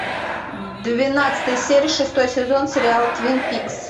двенадцатая серия шестой сезон сериала твинпикс